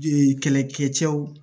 kɛlɛkɛ cɛw